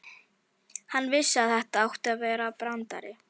Hann vissi að þetta átti að vera brandari.